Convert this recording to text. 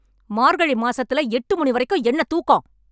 மார்கழி மாசத்துல எட்டு மணி வரைக்கும் என்ன தூக்கம்?